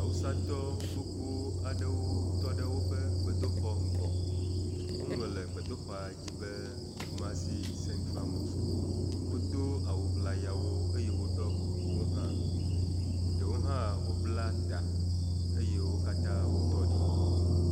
Awusatɔ gbogbo aɖewo tɔ ɖe gbedoxɔ ŋgɔ. Woŋlɔ le gbedoxɔa dzi be Kumasi sɛntral mɔsk. Wodo awu ŋlayawo eye woɖɔ kukuwo hã, ɖewo hã wobla ta eye wo katã wotɔ ɖi.